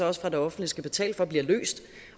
også fra det offentlige skal betale for bliver løst